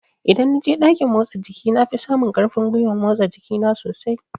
Idan na je ɗakin motsa jiki na fi samun ƙarfin gwiwan motsa jiki na sosai